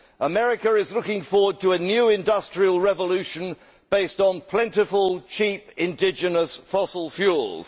America is looking forward to a new industrial revolution based on plentiful, cheap, indigenous fossil fuels.